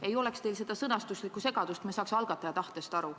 Ei oleks teil seda sõnastuslikku segadust ja meie saaks algataja tahtest aru.